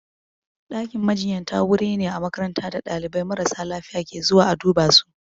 Ɗakin majinyata wuri ne a makaranta da ɗalibai marasa lafiya ke zuwa a duba su.